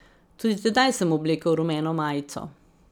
Tudi tedaj sem oblekel rumeno majico.